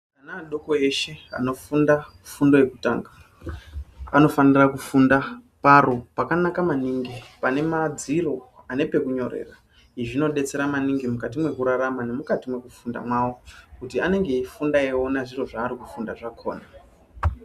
Ana adoko eshe anofunda fundo yekutanga anofanira kufunda paro pakanaka maningi pane madziro ane pekunyorera. Izvi zvinobetsera maningi mukati mekurarama nemukati mwekufunda mwavo. Kuti anenge eifunda eiona zviro zvari kufunda zvakona.